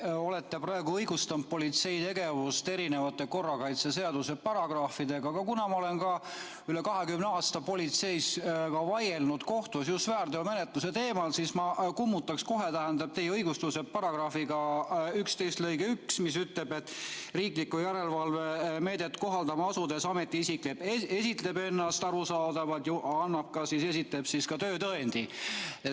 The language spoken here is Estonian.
Te olete praegu õigustanud politsei tegevust erinevate korrakaitseseaduse paragrahvidega, aga kuna ma olen üle 20 aasta politseis vaielnud kohtus just väärteomenetluse teemadel, siis ma kummutan kohe teie õigustused § 11 lõikega 1, mis ütleb, et riiklikku järelevalve meedet kohaldama asudes ametiisik esitleb ennast arusaadavalt ja esitab ka töötõendi.